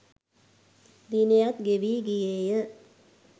දිනයත් ගෙවී ගියේය